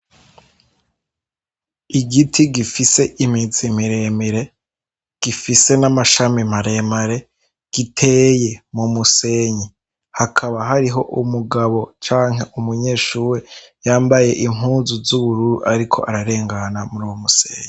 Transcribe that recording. Igiti gifise imizi miremire gifise n'amashami maremare giteye mu musenyi hakaba hariho umugabo canke umunyeshuru yambaye impuzu z'ubururu ariko ararengana muri wo umusenyi.